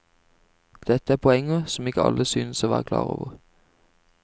Dette er poenger som ikke alle synes å være klar over.